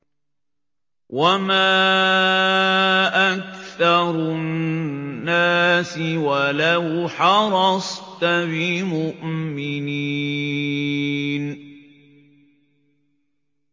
وَمَا أَكْثَرُ النَّاسِ وَلَوْ حَرَصْتَ بِمُؤْمِنِينَ